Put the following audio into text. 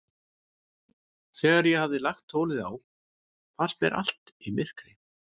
Þegar ég hafði lagt tólið á, fannst mér allt í myrkri.